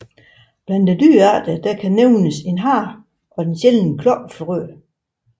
Blandt dyrearterne kan nævnes hare og den sjældne klokkefrø